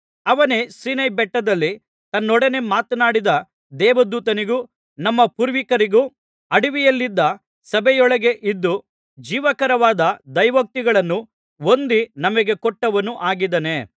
ಅವನೇ ಸೀನಾಯಿಬೆಟ್ಟದಲ್ಲಿ ತನ್ನೊಡನೆ ಮಾತನಾಡಿದ ದೇವದೂತನಿಗೂ ನಮ್ಮ ಪೂರ್ವಿಕರಿಗೂ ಅಡವಿಯಲ್ಲಿದ್ದ ಸಭೆಯೊಳಗೆ ಇದ್ದು ಜೀವಕರವಾದ ದೈವೋಕ್ತಿಗಳನ್ನು ಹೊಂದಿ ನಮಗೆ ಕೊಟ್ಟವನು ಆಗಿದ್ದಾನೆ